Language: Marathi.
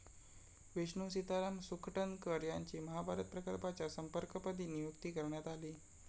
विष्णू सीताराम सुखटणकर यांची महाभारत प्रकल्पाच्या संपर्कपदी नियुक्ती करण्यात आली.